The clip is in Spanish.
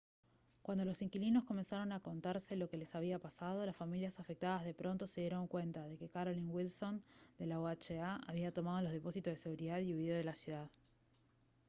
cuando los inquilinos comenzaron a contarse lo que les había pasado las familias afectadas de pronto se dieron cuenta de que carolyn wilson de la oha había tomado los depósitos de seguridad y huido de la ciudad